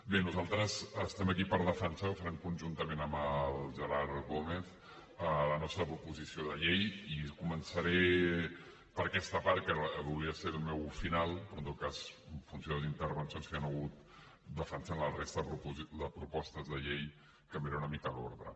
bé nosaltres estem aquí per defensar ho farem conjuntament amb el gerard gómez la nostra proposició de llei i començaré per aquesta part que hauria de ser el meu final però en tot cas en funció de les intervencions que hi han hagut defensant la resta de propostes de llei canviaré una mica l’ordre